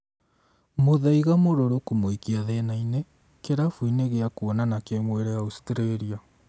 mũthaiga mũrũrũ kũmũikia thĩna-inĩ kĩrabu-inĩ gĩa kuonana kĩmwĩrĩ Australia